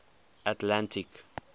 atlantic